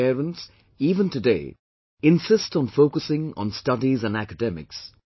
Our parents, even today, insist on focusing on studies and academics